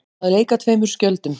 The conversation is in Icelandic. Að leika tveimur skjöldum